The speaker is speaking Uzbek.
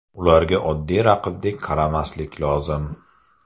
Ularga oddiy raqibdek qaramaslik lozim.